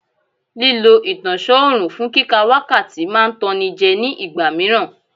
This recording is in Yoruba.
Lílọ ìtọ̀sán òrùn fún kíka wákàtí máa ń tan ni jẹ́ ní ìgbà míràn.